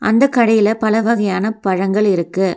அந்தக் கடையில பல வகையான பழங்கள் இருக்கு.